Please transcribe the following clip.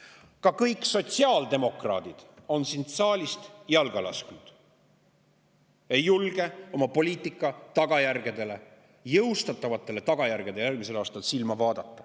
Ka kõik sotsiaaldemokraadid on siit saalist jalga lasknud – ei julge silma vaadata oma jõustatava poliitika tagajärgedele järgmisel aastal.